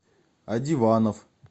одиванов